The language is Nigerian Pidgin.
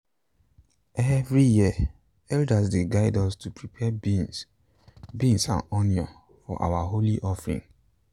every year elders dey guide us to prepare beans beans and onions for our holy offering.